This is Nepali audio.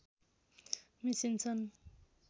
मिसिन्छन्